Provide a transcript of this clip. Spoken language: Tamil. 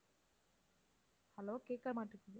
hello கேட்க மாட்டேங்குது.